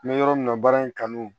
N bɛ yɔrɔ min na baara in kanu